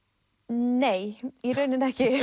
nei í rauninni ekki